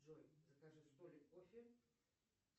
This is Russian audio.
джой закажи столик кофе